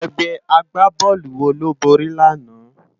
Ègbè ágbábòlú wó ló bóri làná?